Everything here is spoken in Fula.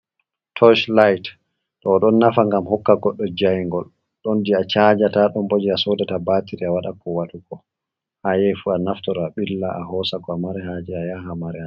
Toshi lit to ɗo ɗon nafa ngam hokka goɗɗo jayingol ɗon ɗi a chajata, ɗom bo je a sodata batiri a waɗa ko watuko ha ayahi fu a naftoro a ɓilla a hosa ko a mari haje a yaha mari ha je.